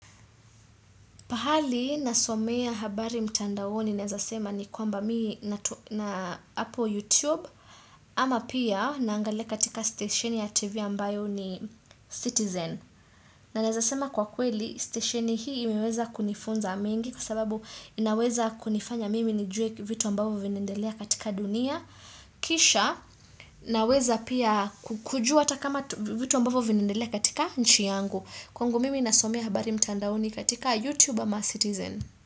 Pahali nasomea habari mtandaoni naezasema ni kwamba mii na Apple YouTube ama pia naangalia katika station ya TV ambayo ni Citizen. Na naezasema kwa kweli station hii imeweza kunifunza mengi kwa sababu inaweza kunifanya mimi nijue vitu ambavyo vinaendelea katika dunia. Kisha naweza pia kujua hata kama vitu ambavo vinaendelea katika nchi yangu. Kwangu mimi nasomea habari mtandaoni katika YouTube ama Citizen.